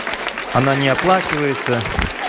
она не оплачивается